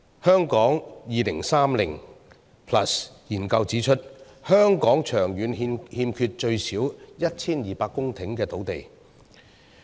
《香港 2030+》研究指出，香港長遠欠缺最少 1,200 公頃的土地。